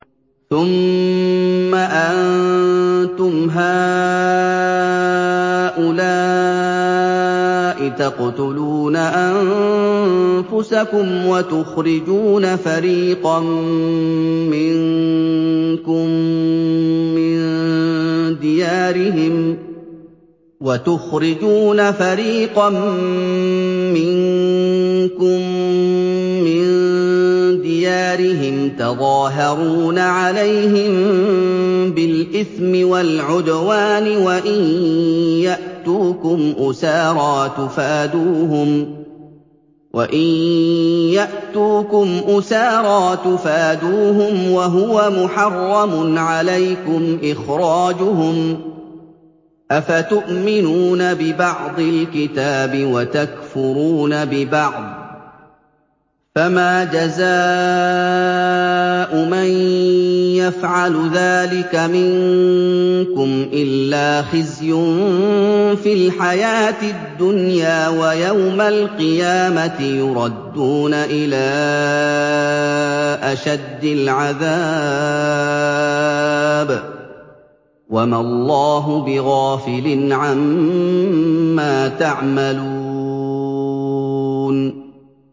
ثُمَّ أَنتُمْ هَٰؤُلَاءِ تَقْتُلُونَ أَنفُسَكُمْ وَتُخْرِجُونَ فَرِيقًا مِّنكُم مِّن دِيَارِهِمْ تَظَاهَرُونَ عَلَيْهِم بِالْإِثْمِ وَالْعُدْوَانِ وَإِن يَأْتُوكُمْ أُسَارَىٰ تُفَادُوهُمْ وَهُوَ مُحَرَّمٌ عَلَيْكُمْ إِخْرَاجُهُمْ ۚ أَفَتُؤْمِنُونَ بِبَعْضِ الْكِتَابِ وَتَكْفُرُونَ بِبَعْضٍ ۚ فَمَا جَزَاءُ مَن يَفْعَلُ ذَٰلِكَ مِنكُمْ إِلَّا خِزْيٌ فِي الْحَيَاةِ الدُّنْيَا ۖ وَيَوْمَ الْقِيَامَةِ يُرَدُّونَ إِلَىٰ أَشَدِّ الْعَذَابِ ۗ وَمَا اللَّهُ بِغَافِلٍ عَمَّا تَعْمَلُونَ